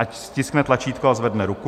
Ať stiskne tlačítko a zvedne ruku.